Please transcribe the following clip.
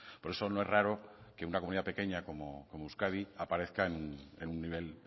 por eso no es raro que una comunidad pequeña como euskadi aparezcan en un nivel